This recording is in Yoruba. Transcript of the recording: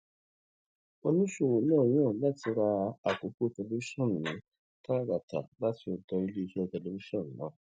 oníṣòwò náà yàn láti ra àkókò tẹlifíṣòn ní tààràtà láti ọdọ iléeṣẹ tẹlifíṣòn náà